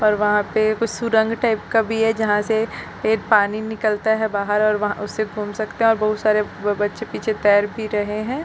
और वहाँ पे कुछ सुरंग टाइप का भी है जहाँ से ए पानी निकलता है बाहर और वहाँ उस से घूम सकते है और बहुत सारे ब बच्चे पीछे तैर भी रहे है।